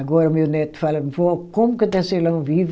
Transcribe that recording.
Agora o meu neto fala, vó, como que o tecelão vive?